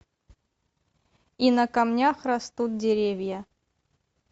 и на камнях растут деревья